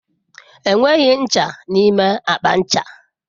Enweghị ncha n'ime akpa ncha.